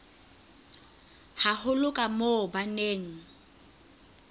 haholo ka moo ba neng